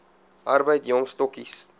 arbeid jong stokkies